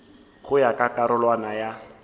go ya ka karolwana ya